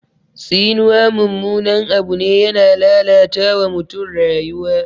Tsinuwa mummunan abu ne, yana lalata wa mutum rayuwa.